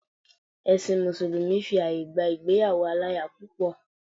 Ẹ̀sìn mùsùlùmí fi àyè gba ìgbéyàwó aláya púpọ̀.